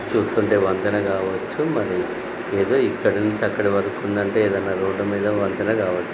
ఇక్కడ చూస్తుంటే వంతెన కావొచ్చు లేదా ఇక్కడినుంచి అక్కడివరకి ఉందంటే ఏదైనా రోడ్డు మీద వంతెన కావొచ్చు.